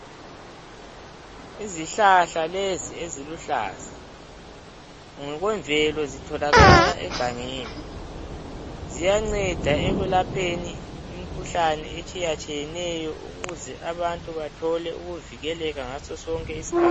Izihlahla lezi. eziluhlaza ngokwemvelo, zitholakala egangeni, ziyanceda ekulapheni imkhuhlane etshiyatshiyeneyo ukuze abantu bathole ukuvikeleka ngasosonke isikhathi.